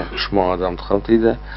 үш мың үш мың адамды қамтиды